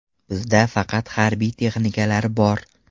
Bizda faqat harbiy texnikalar bor.